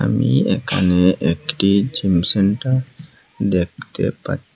আমি এখানে একটি জিম সেন্টার দেখতে পা--